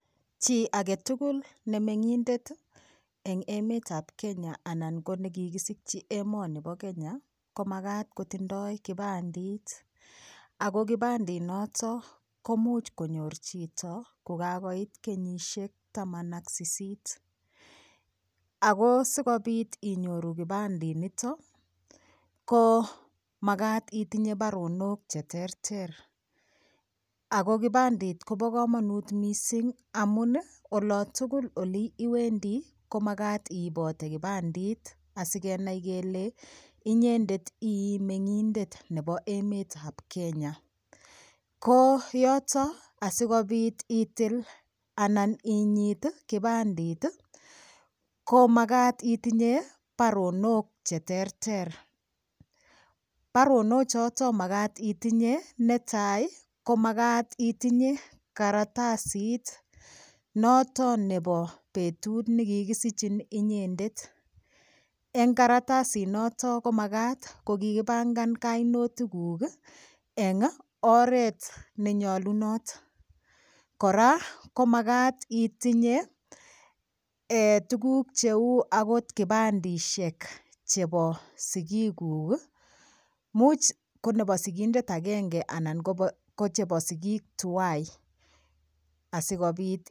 Chi agetugul ne meng'indet eng' emetab Kenya anan ko nekikisichi emoni bo Kenya ko makat kotindoi kipandit ako kipandinoto komuuch konyor chito kukakoit kenyishek taman ak sisit ako sikobit inyoru kipandinito ko makat itinye baronok cheterter ako kipandit kobo kamanut mising' amun olotugul oli iwendi komakat iibote kipandit asikenai kele inyendet ii meng'indet nebo emetab Kenya ko yoto asikobit itil anan inyit kipandit ko makat itinye baronok cheterter barono choto makat itinye netai ko makat itinye karatasit noto nebo betut nekikisichin inyendet eng' karatasinoto komakat kokikipangan kainotik kuk eng' oret nenyolunot kora komakat itinye tukuk cheu akot kipandishek chebo sikikuk muuch ko nebo sikindet agenge anan ko chebo sikik tuwai asikobit